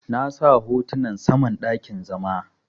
Na sa hotunan saman dakin zama.